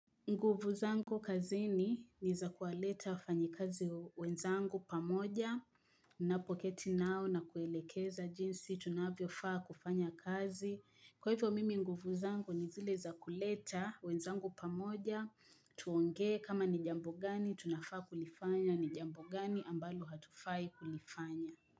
Nguvu zangu kazini ni za kuwaleta wafanyi kazi wenzangu pamoja ninapo keti nao na kuelekeza jinsi tunavyofaa kufanya kazi. Kwa hivyo mimi nguvu zangu ni zile za kuleta wenzangu pamoja tuonge kama ni jambo gani tunafaa kulifanya ni jambo gani ambalo hatufai kulifanya.